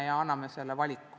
Seega me anname selle valiku.